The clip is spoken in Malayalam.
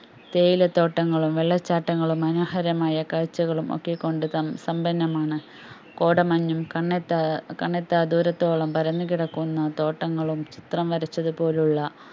തേയിലത്തോട്ടങ്ങളും വെള്ളച്ചാട്ടങ്ങളും മനോഹരമായ കാഴ്ചകളും ഒക്കെ കൊണ്ട് സം സാംബന്നമാണ് കോടമഞ്ഞും കണ്ണെത്താ കണ്ണെത്താദൂരത്തോളം പരന്നുകിടക്കുന്ന തോട്ടങ്ങളും ചിത്രംവരച്ചതുപോലുള്ള